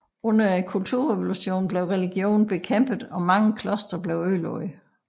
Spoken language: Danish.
Under kulturrevolutionen blev religion bekæmpet og mange klostre ødelagt